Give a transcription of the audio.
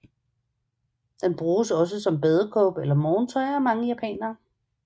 Den bruges også som badekåbe eller morgentøj af mange japanere